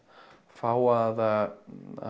fá að